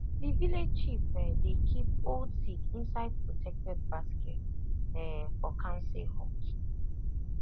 the village chief um dey keep old seed inside protected basket um for council hut